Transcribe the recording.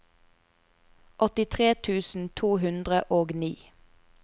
åttitre tusen to hundre og ni